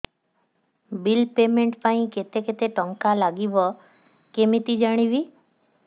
bill payment ପାଇଁ କେତେ କେତେ ଟଙ୍କା ଲାଗିବ କେମିତି ଜାଣିବି